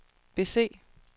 bese